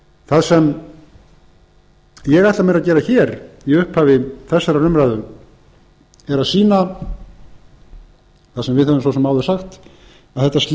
það sem ég ætla mér að gera hér í upphafi þessarar umræðu er að sýna það sem við höfum svo sem áður sagt að þetta slys er